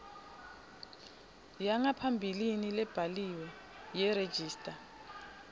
yangaphambilini lebhaliwe yeregistrar